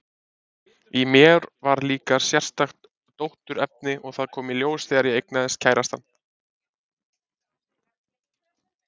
Í mér var líka sérstakt dótturefni, og það kom í ljós þegar ég eignaðist kærastann.